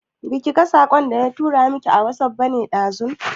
Baki ga saƙon da na tura miki a wasuf bane ɗazu?